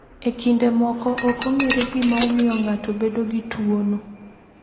E kinde moko, ok ong’ere gima omiyo ng’ato bedo gi tuwono.